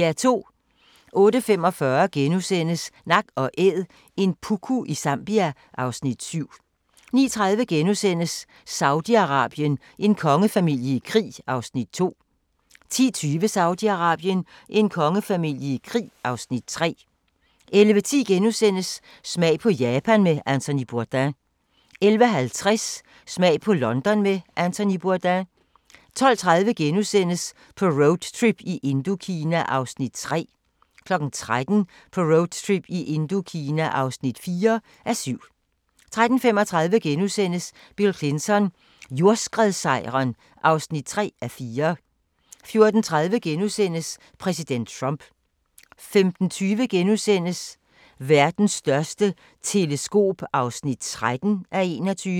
08:45: Nak & Æd – en puku i Zambia (Afs. 7)* 09:30: Saudi-Arabien: En kongefamilie i krig (Afs. 2)* 10:20: Saudi-Arabien: En kongefamilie i krig (Afs. 3) 11:10: Smag på Japan med Anthony Bourdain * 11:50: Smag på London med Anthony Bourdain 12:30: På roadtrip i Indokina (3:7)* 13:00: På roadtrip i Indokina (4:7) 13:35: Bill Clinton: Jordskredssejren (3:4)* 14:30: Præsident Trump * 15:20: Verdens største teleskop (13:21)*